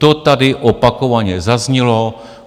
To tady opakovaně zaznělo.